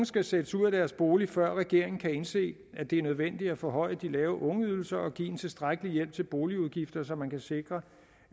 skal sættes ud af deres bolig før regeringen kan indse at det er nødvendigt at forhøje de lave ungeydelser og give en tilstrækkelig hjælp til boligudgifter så man kan sikre